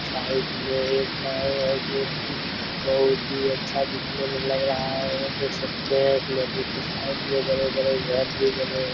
Side में एक घर है जो की बहुत ही अच्छा दिखने में लग रहा है देख सकते है इस नदी के साइड में बड़े-बड़े घर भी बने है।